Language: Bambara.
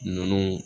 Ninnu